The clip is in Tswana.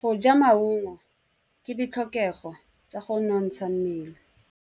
Go ja maungo ke ditlhokegô tsa go nontsha mmele.